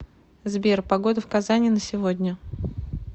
сбер погода в казани на сегодня